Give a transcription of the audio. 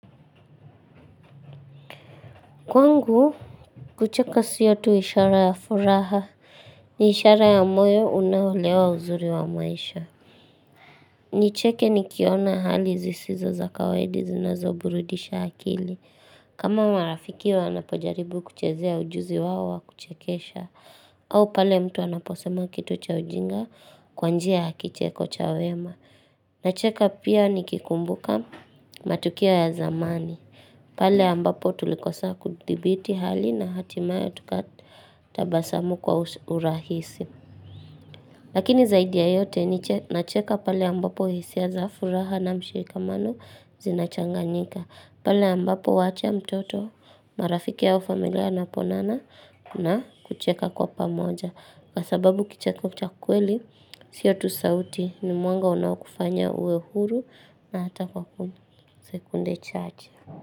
Kwangu, kucheka siyo tu ishara ya furaha ni ishara ya moyo unaolewa uzuri wa maisha. Nicheke ni kiona hali zisizo za kawaida zinazo burudisha akili. Kama marafiki wanapojaribu kuchezea ujuzi wao wa kuchekesha. Au pale mtu anaposema kitu cha ujinga kwanjia ya kicheko cha wema. Nacheka pia nikikumbuka matukio ya zamani. Pale ambapo tulikosa kuthibiti hali na hatimaye tukatabasamu kwa urahisi. Lakini zaidi ya yote ninacheka pale ambapo hisia za furaha na mshikamano zinachanganyika. Pale ambapo huacha mtoto marafiki au familia inapoonana na kucheka kwa pamoja. Kwa sababu kicheko cha kweli, siyotu sauti ni mwanga unaokufanya uwe huru na hata kwa sekunde chache.